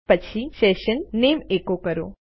અને પછી સેશન નામે એકો કરો